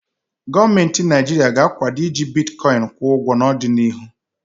Gọọmentị Naịjirịa ga-akwado iji bitkọịn kwụ ụgwo n'ọdịnịhu.